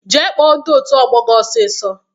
Jee kpọọ ndị otu ọgbọ gị ọsisọ!